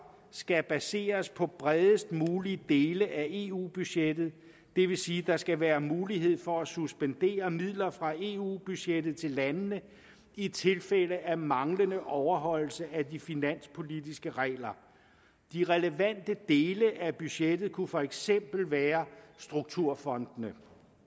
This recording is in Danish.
skal baseres på bredest mulige dele af eu budgettet det vil sige at der skal være mulighed for at suspendere midler fra eu budgettet til landene i tilfælde af manglende overholdelse af de finanspolitiske regler de relevante dele af budgettet kunne for eksempel være strukturfondene